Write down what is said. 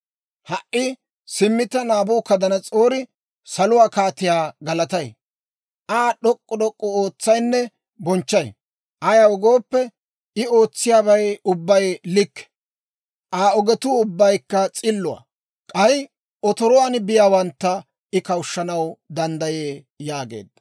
Ha"i simmi taani Naabukadanas'oori saluwaa Kaatiyaa galatay; Aa d'ok'k'u d'ok'k'u ootsayinne bonchchay. Ayaw gooppe, I ootsiyaabay ubbay likke; Aa ogetuu ubbaykka s'illuwaa; k'ay otoruwaan biyaawantta I kawushshanaw danddayee yaageedda.